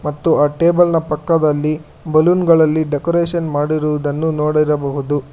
ತ್ತು ಆ ಟೇಬಲ್ನ ಪಕ್ಕದಲ್ಲಿ ಬಲೂನ್ ಗಳಲ್ಲಿ ಡೆಕೋರೇಷನ್ ಮಾಡಿರುವುದನ್ನು ನೋಡಿರಬಹುದು.